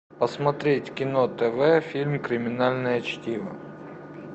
посмотреть кино тв фильм криминальное чтиво